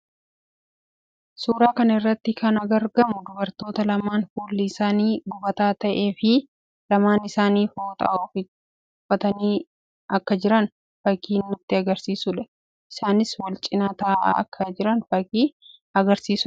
Suuraa kana irratti kan argamu dubartoota lamaan fuulli isaanii gubataa ta'ee fi lamaan isaanii fooxaa uffatanii akka jiran fakkii nutti agarsiisuudha. Isaannis wal cina taa'aa akka jiran fakkii agarsiisuu dha.